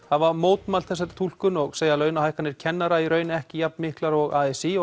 hafa mótmælt þessari túlkun og segja launahækkanir kennara í raun ekki jafn miklar og a s í